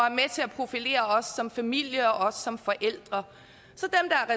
til at profilere os som familie og os som forældre så